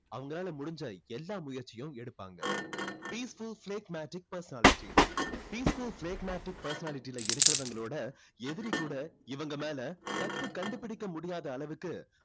அவங்களால முடிஞ்சா எல்லாம் முயற்சிகளையும் எடுப்பாங்க. peaceful phlegmatic personality peaceful phlegmatic personality ல இருக்கிறவங்களோட எதிரி கூட இவங்க மேல தப்பு கண்டுபிடிக்க முடியாத அளவுக்கு